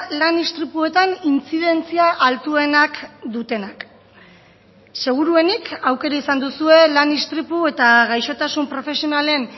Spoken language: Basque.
lan istripuetan intzidentzia altuenak dutenak seguruenik aukera izan duzue lan istripu eta gaixotasun profesionalen